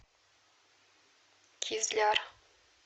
кизляр